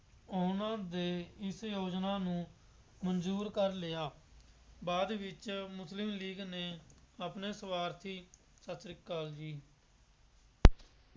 ਉਹਨਾ ਦੇ ਇਸ ਯੋਜਨਾ ਨੂੰ ਮਨਜ਼ੂਰ ਕਰ ਲਿਆ, ਬਾਅਦ ਵਿੱਚ ਮੁਸਲਿਮ ਲੀਗ ਨੇ ਆਪਣੇ ਸੁਆਰਥੀ, ਸਤਿ ਸ਼੍ਰੀ ਅਕਾਲ ਜੀ।